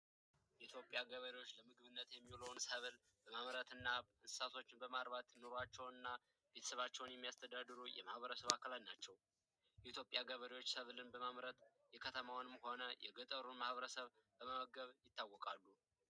የኢትዮጵያ ገበሬዎች በምግብነት የሚውሉ ሰዎች በማምረት የሚያስተዳድሩ የህብረተሰብ አካል ናቸው በኢትዮጵያ ሰብሎችን በማምረት የከተማውንም ሆነ የገጠሩን ማህበረሰብ በመመገብ ይታወቃል።